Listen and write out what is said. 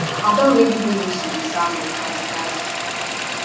i don already dey used to di sound of cars cars